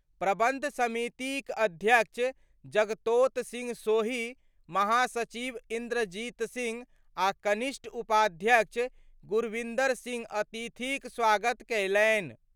प्रबंध समितिक अध्यक्ष जगतोत सिंह सोही, महासचिव इन्द्रजीत सिंह आ कनिष्ठ उपाध्यक्ष गुरविंदर सिंह अतिथिक स्वागत कयलनि।